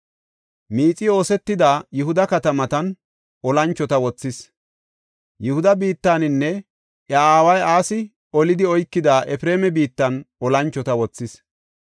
Miixi oosetida Yihuda katamatan olanchota wothis; Yihuda biittaninne iya aaway Asi olidi oykida Efreema biittan olanchota wothis.